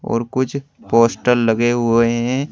और कुछ पोस्टर लगे हुए हैं।